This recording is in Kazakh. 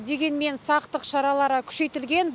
дегенмен сақтық шаралары күшейтілген